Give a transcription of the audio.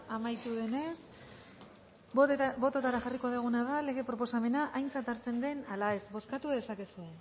amaitu denez bototara jarriko duguna da lege proposamena aintzat hartzen den ala ez bozkatu dezakegu